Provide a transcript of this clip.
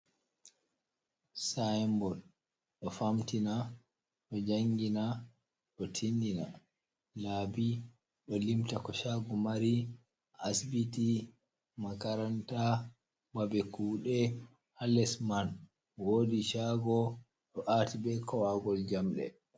Sain bot ɗo famtina, ɗo jangina, ɗo tindi na laɓi, ɗo limta ko shago mari, asibiti, makaranta, babe kuɗe ha les man. Wodi shago ɗo ati be kowagol njamde